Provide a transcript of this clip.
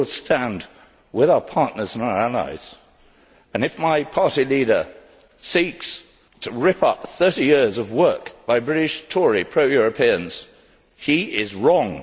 We will stand with our partners and our allies and, if my party leader seeks to rip up 30 years of work by British Tory pro Europeans, he is wrong!